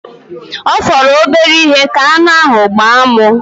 Ọ fọrọ obere ihe ka aṅụ ahụ gbaa mụ.